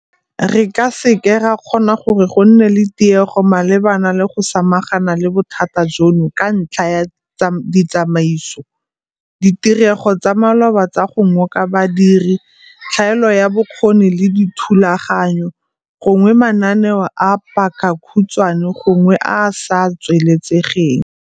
Re ka se ke ra kgona gore go nne le tiego malebana le go samagana le bothata jono ka ntlha ya ditsamaiso, ditirego tsa maloba tsa go ngoka badiri, tlhaelo ya bokgoni le dithulaganyo, gongwe mananeo a pakakhutshwane gongwe a a sa tsweletsegeng.